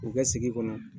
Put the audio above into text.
U ka sigi kɔnɔ